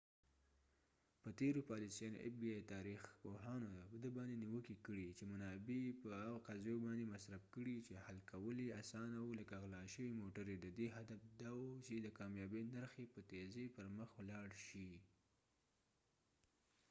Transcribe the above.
تاریخ پوهانو د fbi په تیرو پالیسیانو باندې نیوکې کړي چې منابع یې په هغو قضیو باندې مصرف کړي چې حل کول یې آسانه و لکه غلا شوې موټرې ددې هدف دا و چې د کامیابۍ نرخ یې په تیزۍ پر مخ ولاړ شي